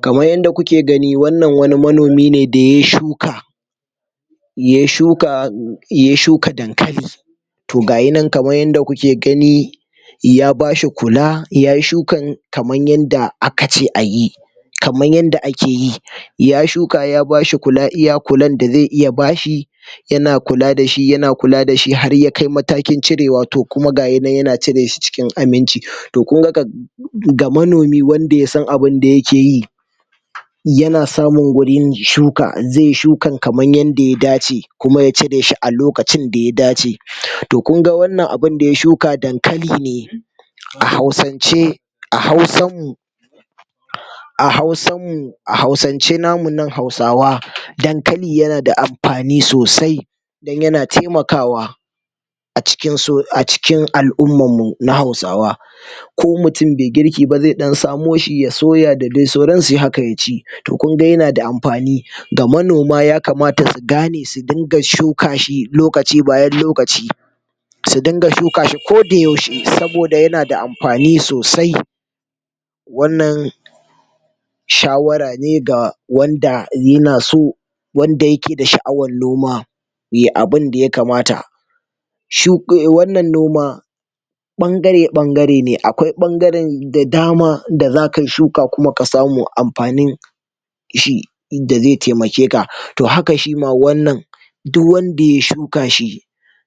Kaman yanda kuke gani wannan wani manomi ne da ye shuka ye shuka ye shuka dankali, to gaya nan kaman yanda kuke gani ya bashi kula yayi shukan kaman yanda aka ce ayi, kaman yanda ake yi ya shuka ya bashi kula iya kuladda ze iya bashi, yana kula da shi yana kula da shi har yakai matakin cirewa to kuma gaya nan yana cire shi cikin aminci to kunga ga manomi wanda yasan abinda yake yi yana samun gurin shuka ze shukan kaman yanda ya dace kuma ya cire shi a lokacinda ya dace, to kunga wannan abunda ya shuka dankali ne a hausance a hausammu a hausammu a hausance namu nan hausawa dankali yana da amfani sosai dan yana temakawa a cikin so a cikin al'ummammu na hausawa, ko mutin be girki ba ze ɗan samo shi ya soya da de soransu haka ya ci, to kunga yana da amfani ga manoma yakamata su gane su dinga shuka shi lokaci bayan lokaci, su dinga shuka shi koda yaushe saboda yana da amfani sosai, wannan shawara ne ga wanda yana so wanda yake da sha'awan noma ye abinda ya kamata, shuƙe wannan noma ɓangare ɓangare ne akwai ɓangaren da dama da zakai shuka kuma ka samu amfanin shi inda ze temakeka to haka shima wannan duwwanda ya shuka shi